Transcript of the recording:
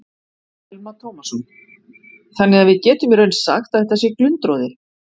Telma Tómasson: Þannig að við getum í raun sagt að þetta sé glundroði?